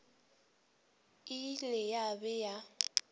e ile ya be ya